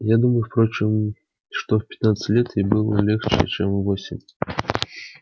я думаю впрочем что в пятнадцать лет ей это было легче чем в восемь